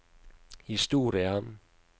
historie